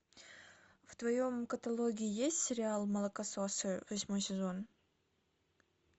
в твоем каталоге есть сериал молокососы восьмой сезон